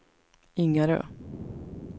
Ingarö